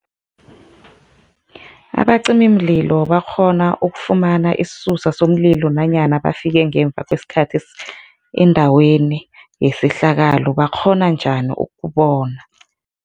Abacimimlilo bakghona ukufumana isisusa somlilo nanyana bafike ngemva kwesikhathi endaweni yesehlakalo, bakghona njani ukubona?